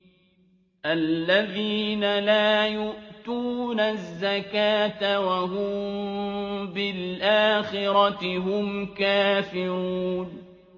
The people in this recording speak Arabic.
الَّذِينَ لَا يُؤْتُونَ الزَّكَاةَ وَهُم بِالْآخِرَةِ هُمْ كَافِرُونَ